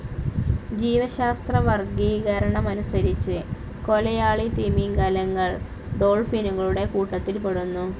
ജീവശാസ്ത്രവർഗീകരണമനുസരിച്ച് കൊലയാളി തിമിംഗലങ്ങൾ ഡോൾഫിനുകളുടെ കൂട്ടത്തിൽപ്പെടുന്നു.